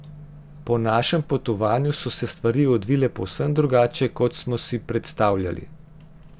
Po našem potovanju so se stvari odvile povsem drugače, kot smo si predstavljali.